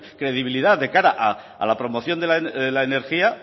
credibilidad de cara a la promoción de la energía